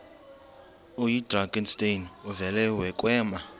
oyidrakenstein uvele kwema